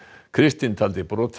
kristinn taldi brotið